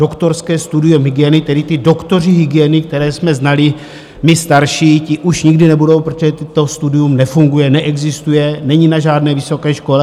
Doktorské studium hygieny, tedy ty doktoři hygieny, které jsme znali my starší, ti už nikdy nebudou, protože to studium nefunguje, neexistuje, není na žádné vysoké škole.